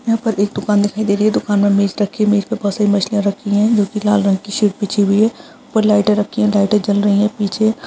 यहाँ पर एक दुकान दिखाई दे रही है। दुकान में एक मेज रखी है। मेज पर बहोत सारी मछलियाँ रखी हैं जो कि लाल रंग की शीट पर बिछी हुई हैं और लाइटें रखी हैं। लाइटें जल रही हैं। पीछे --